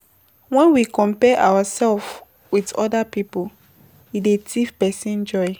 When we compare ourself with oda pipo, e dey thief person joy